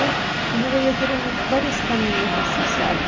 E eu via que eram várias caminhas assim, sabe?